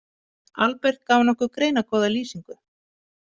Albert gaf nokkuð greinargóða lýsingu.